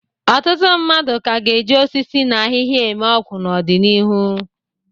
Ọtụtụ mmadụ ka ga-eji osisi na ahịhịa eme ọgwụ n'ọdịnihu.